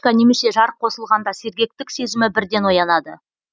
немесе жарық қосылғанда сергектік сезімі бірден оянады